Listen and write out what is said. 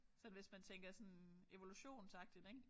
Sådan hvis man tænker sådan evolutionsagtigt ik